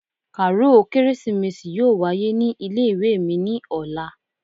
Kàáròl kérésìmesì yóò wáyé ní ilé-ìwé mi ní ọ̀la